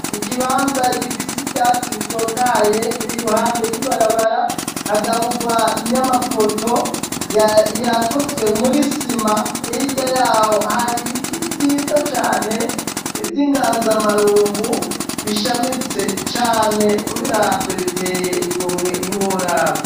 Ikibanza gifise ivyatsi bitotahaye biri ruhande y'ibarabara hagaburwa nyamapoto yakozwe muri sima irya yaho hari ibiti vyiza cane ivyo inganzamarumbu bishamitse cane ubiravyo biteye igomwe ntiworabo.